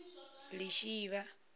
lishivha